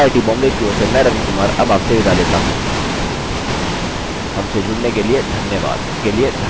I I T Bombay की ओर से मैं रवि कुमार अब आप से विदा लेता हूँ हमसे जुड़ने के लिए धन्यवाद